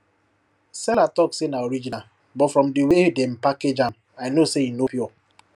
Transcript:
seller talk say na original but from the way dem package am i know say e no pure